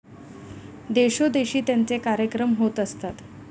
देशोदेशी त्यांचे कार्यक्रम होत असतात.